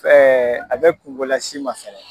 a bɛ kungo las'i ma fɛnɛ.